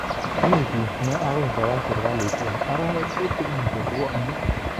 Mi gi ne akoi koyai serkalit eng arawek tutigin chebwone